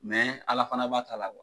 Ala fana b'a ta la.